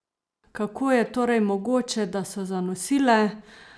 Kako je torej mogoče, da so zanosile?